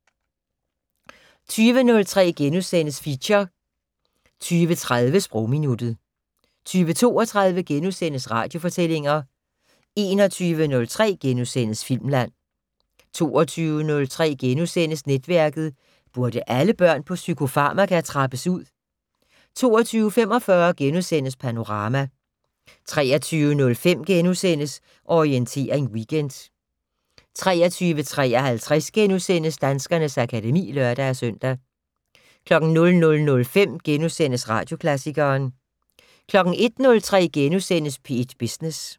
20:03: Feature * 20:30: Sprogminuttet 20:32: Radiofortællinger * 21:03: Filmland * 22:03: Netværket: Burde alle børn på psykofarmaka trappes ud? * 22:45: Panorama * 23:05: Orientering Weekend * 23:53: Danskernes akademi *(lør-søn) 00:05: Radioklassikeren * 01:03: P1 Business *